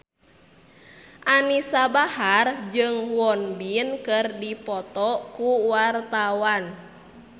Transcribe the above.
Anisa Bahar jeung Won Bin keur dipoto ku wartawan